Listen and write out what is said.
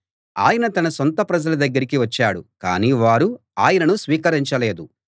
ఆయన తన సొంత ప్రజల దగ్గరికి వచ్చాడు కానీ వారు ఆయనను స్వీకరించలేదు